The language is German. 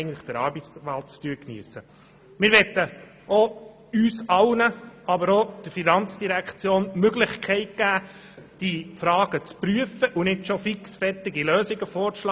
Wir möchten uns allen, und auch der FIN, die Gelegenheit geben, diese Fragen zu prüfen, und wollen nicht schon fixfertige Lösungen vorschlagen.